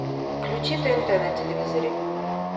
включи тнт на телевизоре